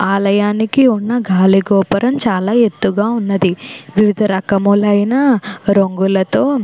ఆలయానికి ఉన్న గాలిగోపురం చాలా ఎత్తుగా ఉన్నది. వివిధ రకములైన రంగుల తో --